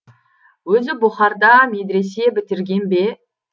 өзі бұхарда медресе бітірген бе